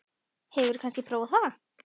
Hefurðu kannski prófað það?